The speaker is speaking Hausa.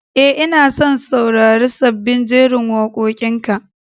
E, ina son saurari sabbin jerin waƙoƙinka.